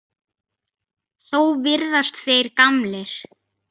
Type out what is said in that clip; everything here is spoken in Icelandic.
Þó virðast þeir gamlir.